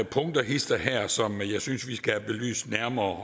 punkter hist og her som jeg synes vi skal have nærmere